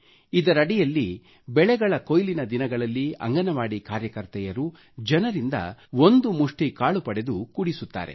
ಇದರಡಿಯಲ್ಲಿ ಬೆಳೆಗಳ ಕೊಯ್ಲಿನ ದಿನಗಳಲ್ಲಿ ಅಂಗನವಾಡಿ ಕಾರ್ಯಕರ್ತೆಯರು ಜನರಿಂದ ಒಂದು ಮುಷ್ಠಿ ಕಾಳು ಪಡೆದು ಕೂಡಿಸುತ್ತಾರೆ